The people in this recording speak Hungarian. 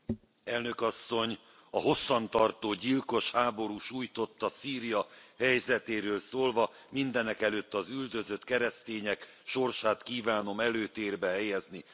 Tisztelt Elnök Asszony! A hosszan tartó, gyilkos háború sújtotta Szíria helyzetéről szólva, mindenekelőtt az üldözött keresztények sorsát kívánom előtérbe helyezni.